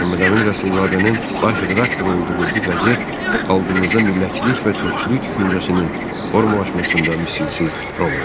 Məmmədəmin Rəsulzadənin baş redaktor olduğu bu qəzet xalqımızda millətçilik və türkçülük düşüncəsinin formalaşmasında misilsiz rol oynadı.